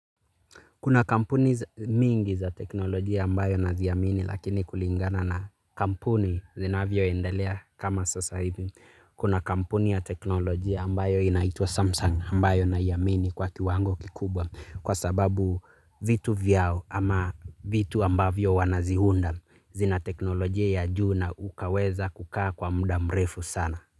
Kuna kampuni mingi za teknolojia ambayo naziamini lakini kulingana na kampuni zinavyoendalea kama sasa hivi. Kuna kampuni ya teknolojia ambayo inaitwa Samsung ambayo naoimini kwa kiwango kikubwa kwa sababu vitu vyao ama vitu ambavyo wanaziunda zina teknolojia ya juu na ukaweza kukaa kwa muda mrefu sana.